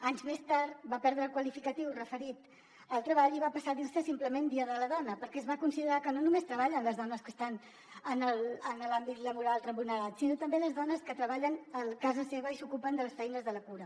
anys més tard va perdre el qualificatiu referit al treball i va passar a dir se simplement dia de la dona perquè es va considerar que no només treballen les dones que estan en l’àmbit laboral remunerat sinó també les dones que treballen a casa seva i s’ocupen de les feines de la cura